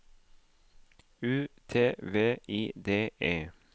U T V I D E